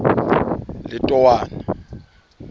letowana